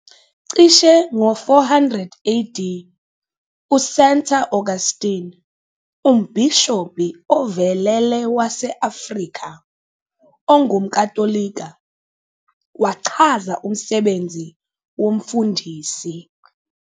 Cishe ngo-400 AD, uSanta Augustine, umbhishobhi ovelele wase-Afrika ongumKatolika, wachaza umsebenzi womfundisi.